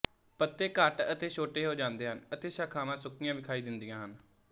ਪੱਤੇ ਘੱਟ ਅਤੇ ਛੋਟੇ ਹੋ ਜਾਂਦੇ ਹਨ ਅਤੇ ਸ਼ਾਖ਼ਾਵਾਂ ਸੁੱਕੀਆਂ ਵਿਖਾਈ ਦਿੰਦੀਆਂ ਹਨ